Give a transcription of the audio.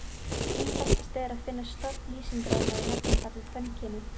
Einfaldast er að finna stofn lýsingarorða í nefnifalli kvenkyni.